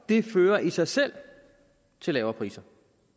det fører i sig selv til lavere priser